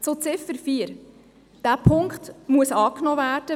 Zur Ziffer 4: Dieser Punkt muss angenommen werden.